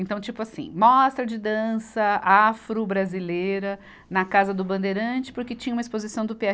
Então, tipo assim, mostra de dança afro-brasileira na Casa do Bandeirante, porque tinha uma exposição do Pê erre.